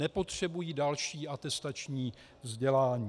Nepotřebují další atestační vzdělání.